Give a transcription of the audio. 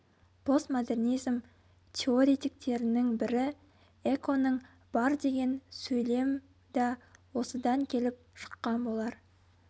постмодернизм теоретиктерінің бірі эконың бар деген сөйлем да осыдан келіп шыққан болар